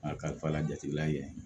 A kalifa jatelan kɛ